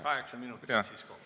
Kaheksa minutit siis kokku.